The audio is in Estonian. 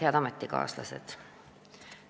Head ametikaaslased!